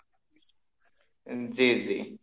জি জি,